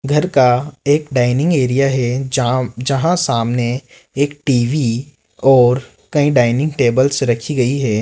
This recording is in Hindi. घर का एक डायनिंग एरिया है जहां जहां सामने एक टी_वी और कई डायनिंग टेबल्स रखी गई है।